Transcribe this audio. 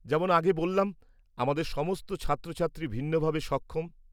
যেমন আগে বললাম, আমাদের সমস্ত ছাত্রছাত্রী ভিন্নভাবে সক্ষম।